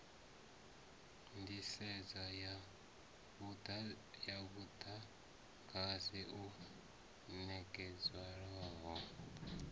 nḓisedzo ya muḓagasi u ṋekedzwaho